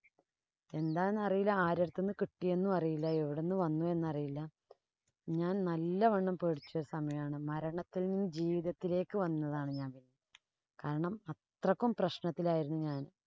എന്താന്നറിയില്ല. ആരുടെ അടുത്ത്ന്ന് കിട്ടിയെന്നും അറിയില്ല. എവിടുന്നു വന്നുവെന്ന് അറിയില്ല. ഞാന്‍ നല്ലവണ്ണം പേടിച്ചു പോയ സമയാണ്. മരണത്തില്‍ നിന്നും ജീവിതത്തിലേക്ക് വന്നതാണ്‌ ഞാന്‍. കാരണം അത്രയ്ക്കും പ്രശ്നത്തിലായിരുന്നു ഞാന്‍.